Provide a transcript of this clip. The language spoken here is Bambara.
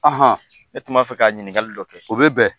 Ne tun b'a fɛ ka ɲininkakali dɔ kɛ. O be bɛn.